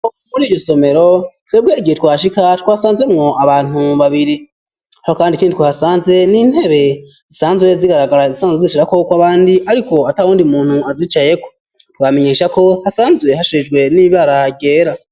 Muri iryo somero twebwe igihe twashika twasanzemwo abantu babiri aho kandi ikindi twahasanze n'intebe zisanzwe zigaragara zisanzwe zishirako koko abandi ariko atabundi muntu azicayeko twamenyesha ko hasanzwe hashajijwe n'ibara ryera.